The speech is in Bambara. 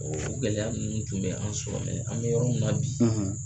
Ɔ o gɛlɛya minnu tun bɛ an sɔrɔ mɛ an bɛ yɔrɔ min na bi